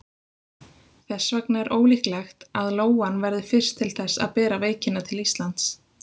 Þess vegna er ólíklegt að lóan verði fyrst til þess að bera veikina til Íslands.